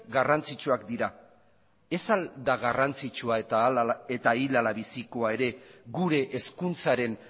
garrantzitsuak dira ez al da garrantzitsua eta hil ala bizikoa ere gure hezkuntzaren